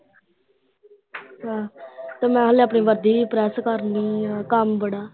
ਤੇ ਨਾਲ ਆਪਣੀ ਵਰਦੀ ਵੀ ਪ੍ਰੈਸ ਕਰਨੀ ਆ। ਕੰਮ ਬੜਾ।